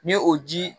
Ni o ji